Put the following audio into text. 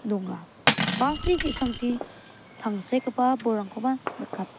bus -ni ki·sangchi tangsekgipa bolrangkoba nikat --